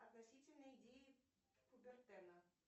относительные идеи кубертена